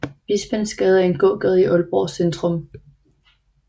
Bispensgade er en gågade i Aalborg Centrum